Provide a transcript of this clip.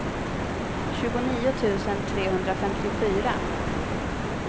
tjugonio tusen trehundrafemtiofyra